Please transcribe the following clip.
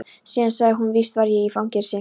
Síðan sagði hann: Víst var ég í fangelsinu.